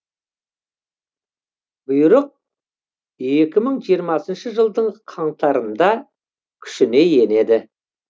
бұйрық екі мың жиырмасыншы жылдың қаңтарында күшіне енеді